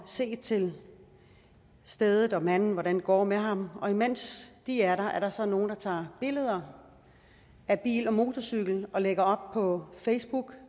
se til stedet og manden og hvordan det går med ham og imens de er der er der så nogle der tager billeder af bil og motorcykel og lægger dem op på facebook